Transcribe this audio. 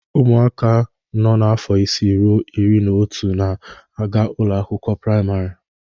Ụmụaka nọ afọ isii ruo iri na otu na-aga ụlọ akwụkwọ praịmarị.